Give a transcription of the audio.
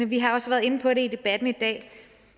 vi har også været inde på det i debatten i dag